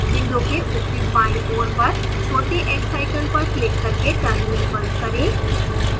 window के ऊपरी बाईं ओर पर छोटे x icon पर क्लिक करके terminal बंद करें